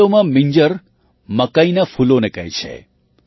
વાસ્તવમાં મિંજર મકાઈનાં ફૂલોને કહે છે